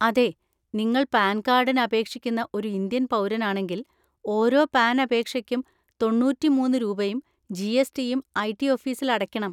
അതെ, നിങ്ങൾ പാൻ കാർഡിന് അപേക്ഷിക്കുന്ന ഒരു ഇന്ത്യൻ പൗരനാണെങ്കിൽ ഓരോ പാൻ അപേക്ഷയ്ക്കുംതൊണ്ണൂറ്റി മൂന്ന് രൂപയും ജി. എസ്. റ്റിയും ഐ.റ്റി ഓഫീസിൽ അടയ്ക്കണം.